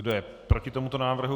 Kdo je proti tomuto návrhu?